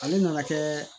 Ale nana kɛ